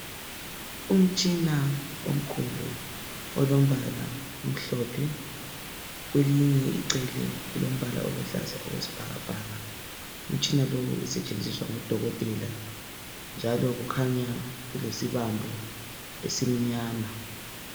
Umtshina omkhulu olombala omhlophe kwelinye icele ulombala oluhlaza okwesibhakabhaka. Umtshina lo usetshenziswa ngodokotela njalo kukhanya ulesibambo esimnyama.